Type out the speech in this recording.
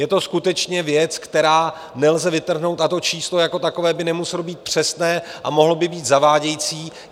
Je to skutečně věc, kterou nelze vytrhnout, a to číslo jako takové by nemuselo být přesné a mohlo by být zavádějící.